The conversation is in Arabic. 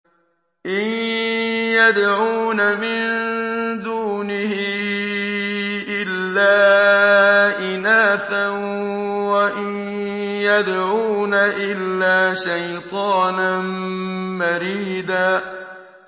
إِن يَدْعُونَ مِن دُونِهِ إِلَّا إِنَاثًا وَإِن يَدْعُونَ إِلَّا شَيْطَانًا مَّرِيدًا